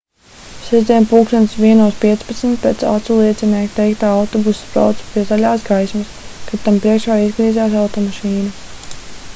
sestdien plkst 01:15 pēc aculiecinieku teiktā autobuss brauca pie zaļās gaismas kad tam priekšā izgriezās automašīna